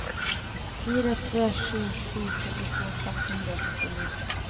fire tre sju sju førtito seks hundre og førtini